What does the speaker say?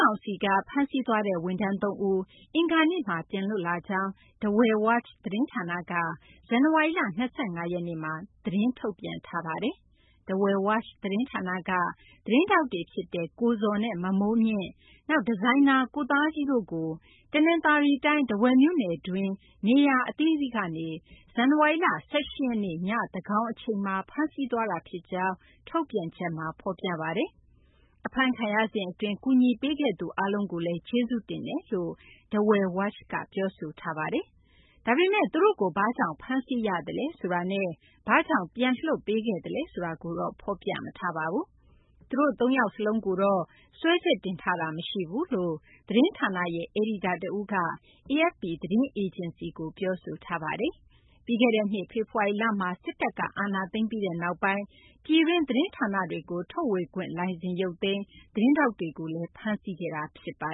ောင်စီက ဖမ်းဆီးသွားတဲ့ ဝန်ထမ်း ၃ ဦး အင်္ဂါနေ့က ပြန်လွတ်လာကြောင်း Dawei Watch သတင်းဌာနက ဇန်နဝါရီလ ၂၅ ရက်နေ့မှာ ပြောဆိုထားပါတယ်။ Dawei Watch သတင်းဌာနက သတင်းထောက်တွေဖြစ်ကြတဲ့ ကိုဇော်နဲ့ မမိုးမြင့်၊ နောက် ဒီဇိုင်နာ ကိုသားကြီးတို့ကိုတနသာၤရီတိုင်း ထားဝယ်မြို့တွင်း နေရာအသီးသီးကနေ ဇန်နဝါရီလ ၁၈ ရက်နေ့ ည သန်းခေါင် အချိန်မှာ ဖမ်းဆီးသွားတာဖြစ်ကြောင်း ထုတ်ပြန်ချက်မှာ ဖော်ပြပါတယ်။ အဖမ်းခံရစဉ်အတွင်း ကူညီပေးခဲ့သူ အားလုံးကိုလည်း ကျေးဇူးတင်ကြောင်း Dawei Watch က ပြောဆိုထားပါတယ်။ ဒါပေမယ့် သူတို့ကို ဘာကြောင့် ဖမ်းဆီးရသလဲ ဆိုတာနဲ့ ဘာကြောင့် ပြန်လွှတ်ပေးခဲ့သလဲ ဆိုတာကိုတော့ ဖော်ပြမထားပါဘူး။ သူတို့ သုံးယောက်လုံးကိုတော့ စွဲချက်တင်ထားတာ မရှိကြောင်း သတင်းဌာနရဲ့ အယ်ဒီတာတဦးက AFP သတင်းအေဂျင်စီကို ပြောဆိုထားပါတယ်။ ပြီးခဲ့တဲ့နှစ် ဖေဖော်ဝါရီလမှာ စစ်တပ်က အာဏာသိမ်းပြီးနောက်ပိုင်း ပြည်တွင်း သတင်းဌာနတွေကို ထုတ်ဝေခွင့် လိုင်စင် ရုပ်သိမ်း၊ သတင်းထောက်တွေကို ဖမ်းဆီးခဲ့တာပါ